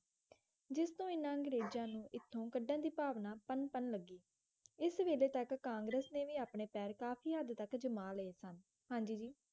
ਜਿਸਤੋਂ ਇਨ੍ਹਾਂ ਅੰਗਰੇਜਾਂ ਨੂੰ ਇੱਥੋਂ ਕੱਢਣ ਦੀ ਭਾਵਨਾ ਪਨਪਣ ਲੱਗੀ ਇਸ ਵੇਲੇ ਤੱਕ ਕਾਂਗਰਸ ਨੇ ਵੀ ਆਪਣੇ ਪੈਰ ਕਾਫੀ ਹੱਦ ਤੱਕ ਜਮਾ ਲਏ ਸਨ